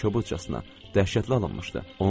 kobudcasına dəhşətli alınmışdı.